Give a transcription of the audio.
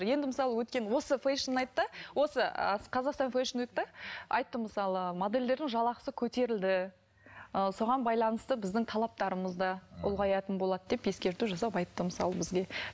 енді мысалы өткен осы фэшн найтта осы қазақстан фэшн найтта айтты мысалы модельдердің жалақысы көтерілді ы соған байланысты біздің талаптарымыз да ұлғаятын болады деп ескерту жасап айтты мысалы бізге